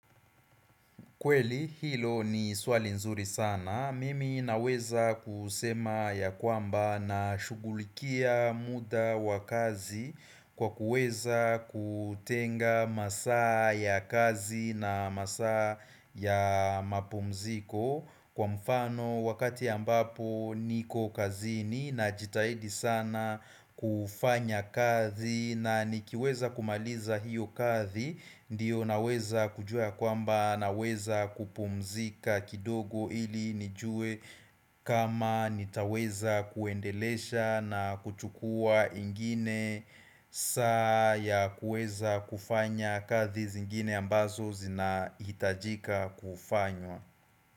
Kweli hilo ni swali nzuri sana. Mimi naweza kusema ya kwamba na shugulikia muda wa kazi kwa kuweza kutenga masaa ya kazi na masaa ya mapumziko kwa mfano wakati ya ambapo niko kazini najitahidi sana kufanya kazi na nikiweza kumaliza hiyo kazi Ndiyo naweza kujua kwamba naweza kupumzika kidogo ili nijue kama nitaweza kuendelesha na kuchukua ingine saa ya kueza kufanya kazi zingine ambazo zina hitajika kufanywa.